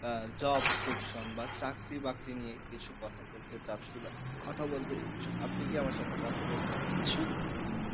আহ job section বা চাকরি বাকরি নিয়ে কিছু কথা বলতে চাচ্ছি কথা বলতে ইচ্ছুক, আপনি কি আমার সাথে কথা বলতে ইচ্ছুক?